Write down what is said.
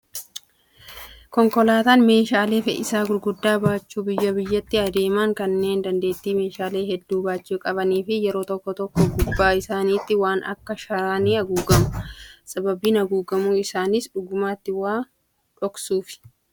Konkolaataan meeshaalee fe'iisaa gurguddaa baachuun biyyaa biyyatti adeeman kanneen dandeettii meeshaalee hedduu baachuu qabanii fi yeroo tokko tokko gubbaa isaaniitti waan akka sharaa ni haguugamu. Sababiin haguugamuu isaaniis dhugumatti waa dhoksuufi.